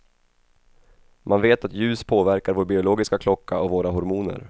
Man vet att ljus påverkar vår biologiska klocka och våra hormoner.